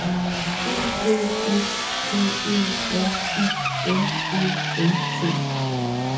E K S P E R I M E N T